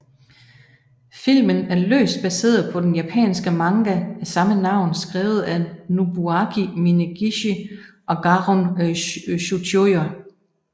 Filmen er løst baseret på den japanske manga af samme navn skrevet af Nobuaki Minegishi og Garon Tsuchiya